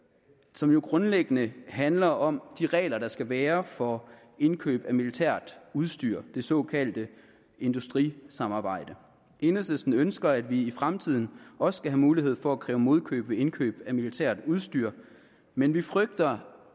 som jo grundlæggende handler om de regler der skal være for indkøb af militært udstyr det såkaldte industrisamarbejde enhedslisten ønsker at vi i fremtiden også skal have mulighed for at kræve modkøb ved indkøb af militært udstyr men vi frygter